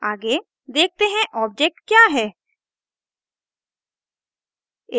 आगे देखते हैं ऑब्जेक्ट क्या है